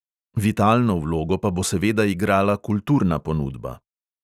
Vitalno vlogo pa bo seveda igrala kulturna ponudba.